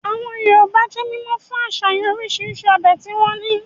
Àwọn Yorùbá jẹ́ mímọ̀ fún àsàyàn orisirisi ọbẹ̀ tí wọ́n ní